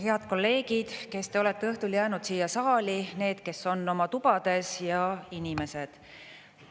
Head kolleegid, kes te olete õhtul jäänud siia saali, need, kes on oma tubades, ja inimesed!